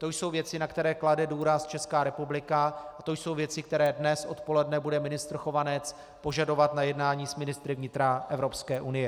To jsou věci, na které klade důraz Česká republika, a to jsou věci, které dnes odpoledne bude ministr Chovanec požadovat na jednání s ministry vnitra Evropské unie.